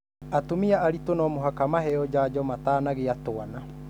Atumia aritũ no mũhaka maheo janjo matanagĩa twana.